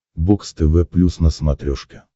бокс тв плюс на смотрешке